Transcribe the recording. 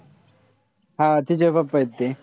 हा तिचे papa ए ते.